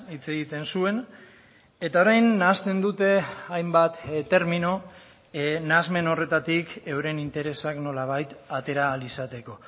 hitz egiten zuen eta orain nahasten dute hainbat termino nahasmen horretatik euren interesak nolabait atera ahal izateko